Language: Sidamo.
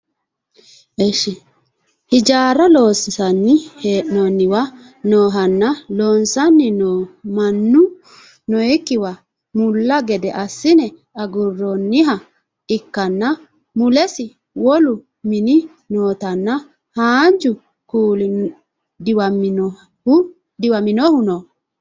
hijaara loonsanni he'noonniwa noohanna loosanni noo mannu nookkiwa mulla gede assine agurroonniha ikkanna mulesi wolu mini nootanna haanju kuuli diwaminohu no